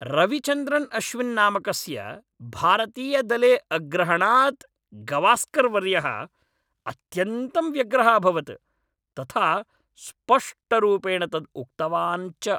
रविचन्द्रन् अश्विन् नामकस्य भारतीयदले अग्रहणात् गवास्कर्वर्यः अत्यन्तं व्यग्रः अभवत्, तथा स्पष्टरूपेण तद् उक्तवान् च।